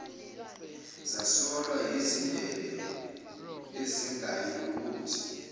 zasolwa yizindebe ezingayilokothi